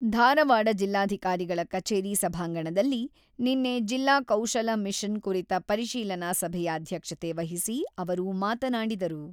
ಧಾರವಾಡ ಜಿಲ್ಲಾಧಿಕಾರಿಗಳ ಕಛೇರಿ ಸಭಾಂಗಣದಲ್ಲಿ ನಿನ್ನೆ ಜಿಲ್ಲಾ ಕೌಶಲ ಮಿಷನ್ ಕುರಿತ ಪರಿಶೀಲನಾ ಸಭೆಯ ಅಧ್ಯಕ್ಷತೆ ವಹಿಸಿ ಅವರು, ಮಾತನಾಡಿದರು.